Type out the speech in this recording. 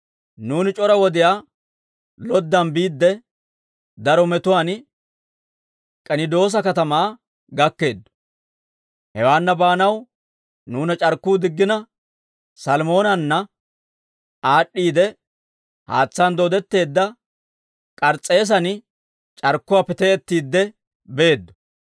Nuuni c'ora wodiyaa loddan biidde, daro metuwaan K'enidoosa katamaa gakkeeddo; hewaanna baanaw nuuna c'arkkuu diggina Salmoonanna aad'd'iide, haatsaan dooddetteedda K'ars's'eesan c'arkkuwaappe te'ettiidde beeddo.